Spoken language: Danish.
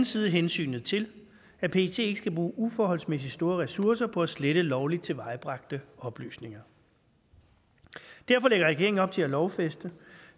side hensynet til at pet ikke skal bruge uforholdsmæssigt store ressourcer på at slette lovligt tilvejebragte oplysninger derfor lægger regeringen op til at lovfæste